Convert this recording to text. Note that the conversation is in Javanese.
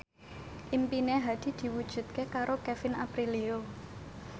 impine Hadi diwujudke karo Kevin Aprilio